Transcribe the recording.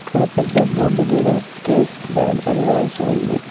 అక్కడ పెద్ద బోర్డు మీద కేక్ బ్యాగ్ అని రాసి ఉంది.